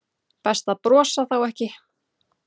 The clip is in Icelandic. Best að brosa þá ekki.